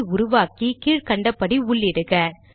file ஐ உருவாக்கி கீழ் கண்டபடி உள்ளிடுக